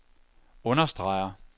understreger